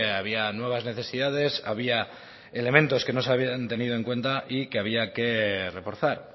había nuevas necesidades había elementos que no se habían tenido en cuenta y que había que reforzar